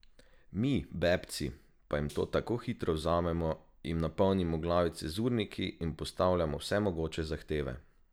Mi, bebci, pa jim to tako hitro vzamemo, jim napolnimo glavice z urniki in postavljamo vse mogoče zahteve.